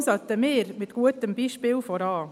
Deshalb sollten wir mit gutem Beispiel vorangehen.